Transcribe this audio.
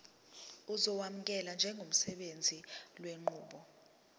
uzokwamukelwa njengosebenzisa lenqubo